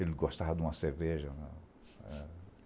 Ele gostava de uma cerveja.